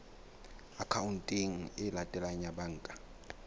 akhaonteng e latelang ya banka